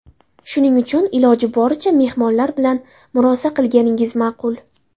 Shuning uchun iloji boricha mehmonlar bilan murosa qilganingiz ma’qul.